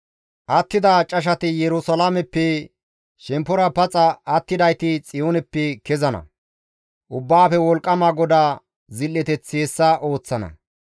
Attida cashati Yerusalaameppe, shemppora paxa attidayti Xiyooneppe kezana. Ubbaafe Wolqqama GODAA zil7eteththi hessa ooththana.